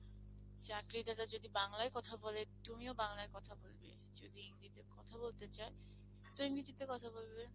চাকরি দাতা যদি বাংলায় কথা বলে, তুমিও বাংলায় কথা বলবে যদি ইংরেজিতে কথা বলতে চায় তো ইংরেজিতে কথা বলবে।